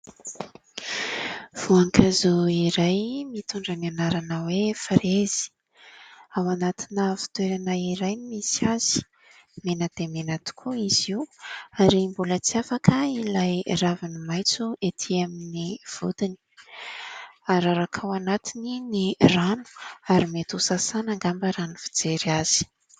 Voankazo iray, mitondra ny anarana hoe frezy. Ao anatina fitoerana iray no misy azy, mena dia mena tokoa izy io, ary mbola tsy afaka ilay raviny maitso ety amin' ny vodiny. Araraka ao anatiny ny rano, ary mety ho sasana angamba raha ny fijery azy.